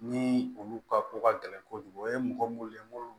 Ni olu ka ko ka gɛlɛn kojugu o ye mɔgɔ minnu ye munnu